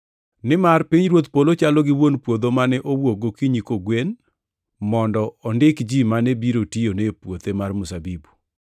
“Nimar pinyruodh polo chalo gi wuon puodho mane owuok gokinyi kogwen, mondo ondik ji mane biro tiyone e puothe mar mzabibu.